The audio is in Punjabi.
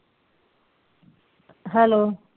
ਹੈਲੋ